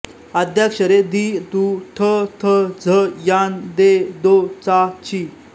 आद्याक्षरे दि दु ठ थ झ यां दे दो चा ची